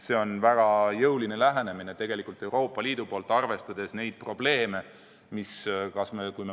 See on väga jõuline lähenemine Euroopa Liidu poolt, arvestades muidki probleeme.